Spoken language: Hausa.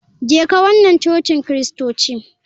Jeka wana cocin kristoci.